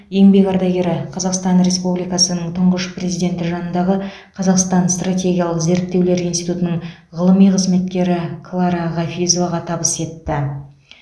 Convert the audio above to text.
еңбек ардагері қазақстан республикасы тұңғыш президенті жанындағы қазақстан стратегиялық зерттеулер институтының ғылыми қызметкері клара хафизоваға табыс етті